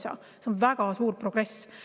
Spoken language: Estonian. See on väga suur progress.